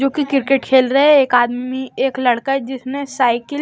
जो कि क्रिकेट खेल रहे हैं एक आदमी एक लड़का है जिसने साइकिल --